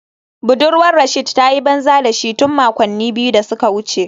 Budurwar Rasheed ta yi banza da shi tun makonni biyu da suka wuce